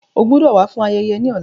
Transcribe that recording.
O gbọdọ wa fun ayẹyẹ ni ọla.